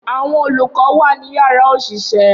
Awọn olukọ wa ni yárà oṣiṣẹ.